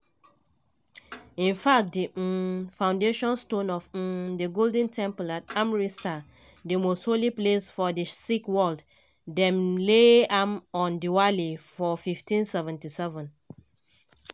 in fact di um foundation stone of um di golden temple at amritsar di most holy place for di sikh world dem lay am on diwali for1577.